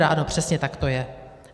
Ano, přesně tak to je.